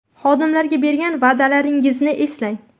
Xodimlarga berilgan va’dalaringizni eslang.